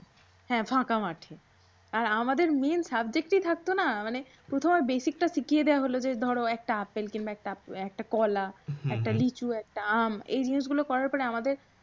্রাহ্যা ফাঁকা মাঠে। আর আমাদের main subject ই থাকতো না মানে প্রথমে basic টা শিখিয়ে দেওয়া হল যে ধরো একটা আপেল কিংবা একটা কলা। একটা লিচু একটা আম। এই জিনিসগুল করার পরে আমাদের